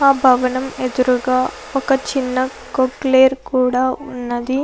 ఆ భవనం ఎదురుగా ఒక చిన్న క్రొకులెను కూడా ఉన్నది.